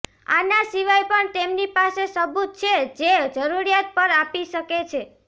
આના સિવાય પણ તેમની પાસે સબુત છે જે જરૂરિયાત પર આપી શકે છે